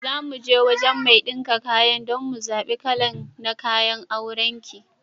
Zamuje wajan mai ɗinka kayan dan mu zaɓe kalan na kayan auran ki.